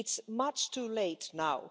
It's much too late now.